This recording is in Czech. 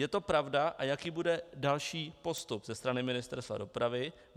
Je to pravda, a jaký bude další postup ze strany Ministerstva dopravy?